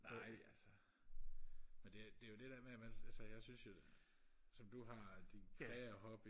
nej altså men det det er jo det der med at man altså jeg synes jo som du har dit krea hobby